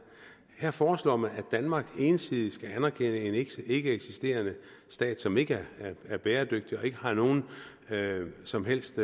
her foreslår man at danmark ensidigt skal anerkende en ikkeeksisterende stat som ikke er bæredygtig og som ikke har nogen som helst